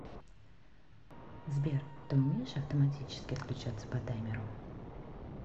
сбер ты умеешь автоматически отключаться по таймеру